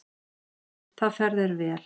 Það fer þér vel.